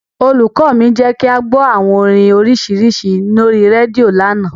Olùkọ́ mi jẹ́ kí a gbọ́ àwọn orin nọ́síìrì lórí rédíò lánàá.